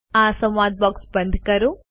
આ સંવાદ બોક્સ બંધ કરો